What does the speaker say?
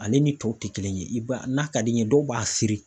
Ale ni tɔw tɛ kelen ye i b'a n'a ka di i ye dɔw b'a siri.